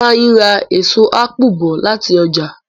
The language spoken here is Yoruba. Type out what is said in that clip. Ifeanyi rà èso apu bó láti oja.